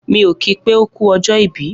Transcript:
Mi o ki pé oku ọjọ ìbí.